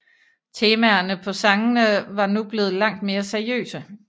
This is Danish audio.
Temaerne på sangene var nu blevet langt mere seriøse